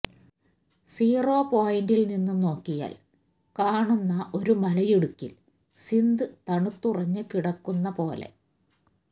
zero പോയിന്റിൽ നിന്നും നോക്കിയാൽ കാണുന്ന ഒരു മലയിടുക്കിൽ സിന്ധ് തണുത്തുറഞ്ഞു കിടക്കുന്ന പോലെ